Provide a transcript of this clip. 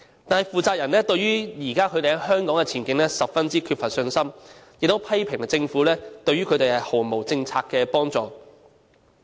但是，負責人對於他們現時在香港的前景，卻十分缺乏信心，亦批評政府對於他們毫無政策上的幫助。